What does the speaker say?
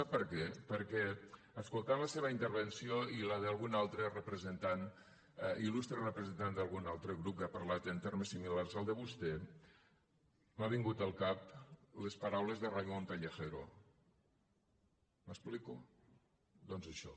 sap per què perquè escoltant la seva intervenció i la d’algun altre representant il·presentant d’algun altre grup que ha parlat en termes similars als de vostè m’han vingut al cap les paraules de raimon pelegero m’explico doncs això